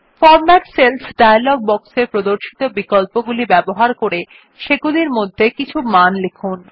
format cells dialog box এ প্রদর্শিত বিকল্পগুলি ব্যবহার করে সেগুলির মধ্যে কিছু মান লিখুন